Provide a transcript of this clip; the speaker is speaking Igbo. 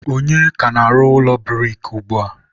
ọnye ka na-arụ ụlọ buriki ugbua?